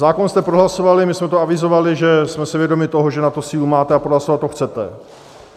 Zákon jste prohlasovali, my jsme to avizovali, že jsme si vědomi toho, že na to sílu máte a prohlasovat to chcete.